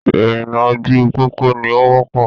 Ìrìnnà ojú pópó ni o wọ́pọ̀.